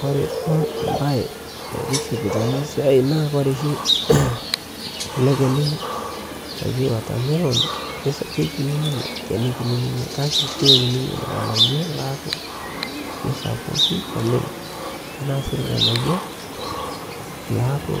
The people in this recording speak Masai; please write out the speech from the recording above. kore duo mbai naitiship naa siai naa kore shi ale kenii ojii watermelon keikinii ninyee lkenii kinii kakee keiu ninyee lghanayoo loakuu keisapukii oleng tanaa sii lghanayoo laaku